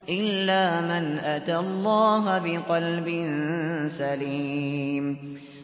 إِلَّا مَنْ أَتَى اللَّهَ بِقَلْبٍ سَلِيمٍ